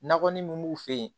Nakɔ mun b'u fɛ yen